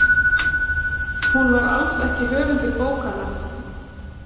Hún var alls ekki höfundur bókanna.